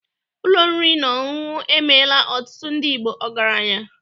Ụlọ oriri na ọṅụṅụ emeela ọtụtụ ndị Igbo ọgaranya